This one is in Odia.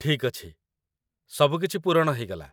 ଠିକ୍ ଅଛି। ସବୁ କିଛି ପୂରଣ ହେଇଗଲା